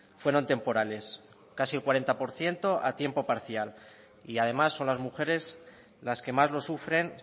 fueron temporales casi el cuarenta por ciento a tiempo parcial y además son las mujeres las que más lo sufren